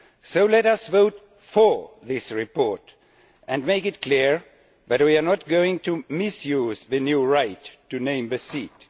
So let us vote for this report and make it clear that we are not going to misuse the new right to name the seat.